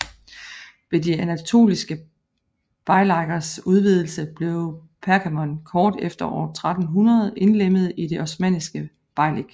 Ved de anatoliske beylikers udvidelse blev Pergamon kort efter år 1300 indlemmet i det osmanniske beylik